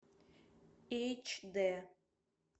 эйчди